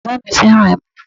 Bàbá mi fẹ́ràn ẹmu.